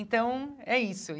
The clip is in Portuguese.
Então, é isso.